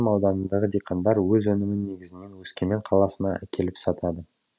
ауданындағы диқандар өз өнімін негізінен өскемен қаласына әкеліп сатады